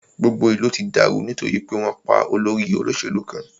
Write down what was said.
Gbogbo ìlú ti dàrú nítorí pé wọn pá olórí olóṣèlú kan.